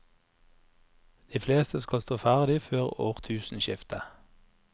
De fleste skal stå ferdig før årtusenskiftet.